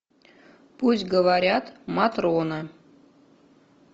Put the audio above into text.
пусть говорят матрона